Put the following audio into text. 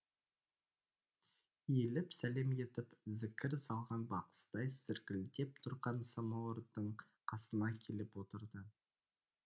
иіліп сәлем етіп зікір салған бақсыдай зіркілдеп тұрған самауырдың қасына келіп отырды